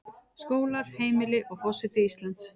Skólar, heimili, og forseti Íslands.